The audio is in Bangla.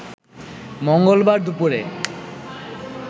মঙ্গলবার দুপুরে